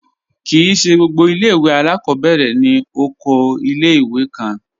Kí í ṣẹ gbogbo ilẹ̀-iwe alákọbẹ̀rẹ̀ ni òkò ilẹ̀-iwè kàn.